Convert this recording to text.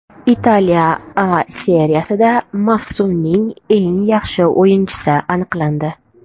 Italiya A Seriyasida mavsumning eng yaxshi o‘yinchisi aniqlandi.